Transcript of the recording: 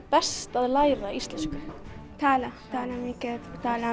best að læra íslensku tala tala